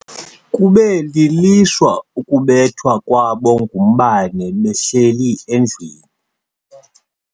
Kube lilishwa ukubethwa kwabo ngumbane behleli endlwini.